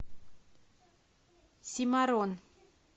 симорон